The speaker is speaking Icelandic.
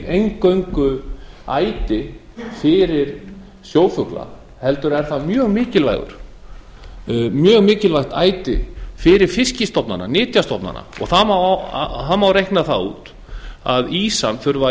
eingöngu æti fyrir sjófugla heldur er það mjög mikilvægt æti fyrir fiskstofnana nytjastofnana og það má reikna það út að ýsan þurfi að